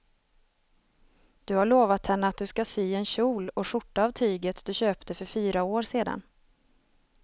Du har lovat henne att du ska sy en kjol och skjorta av tyget du köpte för fyra år sedan.